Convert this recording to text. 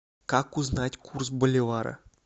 как узнать курс боливара